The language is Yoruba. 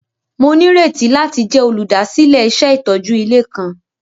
Mo nírètí láti jẹ olúdásílẹ̀ iṣẹ itójú ilé kan.